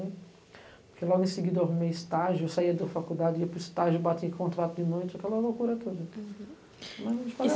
Porque, logo em seguida, eu arrumei estágio, eu saía da faculdade, ia para o estágio, bati em contrato de noite, aquela loucura toda.